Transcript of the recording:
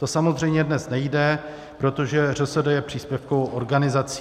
To samozřejmě dnes nejde, protože ŘSD je příspěvkovou organizací.